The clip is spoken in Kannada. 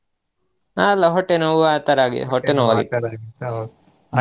ಆ ಅಲ್ಲಾ ಹೊಟ್ಟೆ ನೋವು ಆ ತರಾ ಆಗಿ ಹೊಟ್ಟೆ ನೋವಾಗಿತ್ತು .